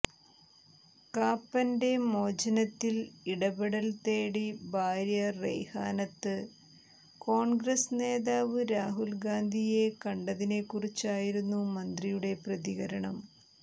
കാപ്പൻ്റെ മോചനത്തിൽ ഇടപെടൽ തേടി ഭാര്യ റെയ്ഹാനത്ത് കോൺഗ്രസ് നേതാവ് രാഹുൽ ഗാന്ധിയെ കണ്ടതിനെക്കുറിച്ചായിരുന്നു മന്ത്രിയുടെ പ്രതികരണം